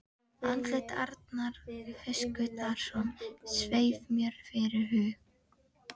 Andlit Arnar Höskuldssonar sveif mér fyrir hug